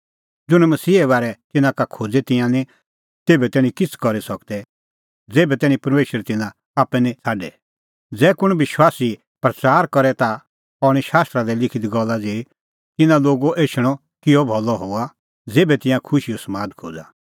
ज़ुंण मसीहे बारै तिन्नां का खोज़े तिंयां निं तेभै तैणीं किछ़ करी सकदै ज़ेभै तैणीं परमेशर तिन्नां आप्पै निं छ़ाडे ज़ै कुंण विश्वासी प्रच़ार करे ता अह हणीं शास्त्रा दी लिखी दी गल्ला ज़ेही तिन्नां लोगो एछणअ किअ भलअ हआ ज़ेभै तिंयां खुशीओ समाद खोज़ा